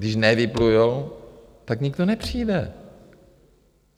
Když nevyplujou, tak nikdo nepřijde.